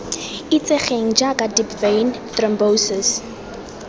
itsegeng jaaka deep vein thrombosis